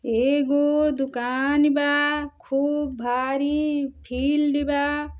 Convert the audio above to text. एगो दुकानी बा खूब भारी फिल्ड बा।